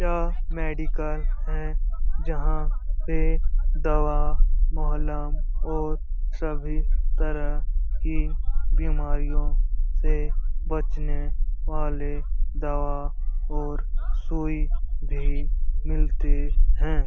यह मेडिकल है जहाँ पे दवा महलम और सभी तरह की बीमारियों से बचने वाले दवा और सुई भी मिलती हैं।